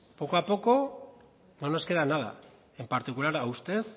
poco a poco no nos queda nada en particular a usted